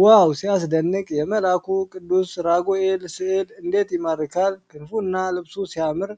ዋው ሲያስደንቅ! የመላኩ ቅዱስ ራጉኤል ሥዕል እንዴት ይማርካል! ክንፉና ልብሱ ሲያምር!